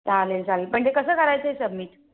चालेल चालेल पण ते कस करायच Submit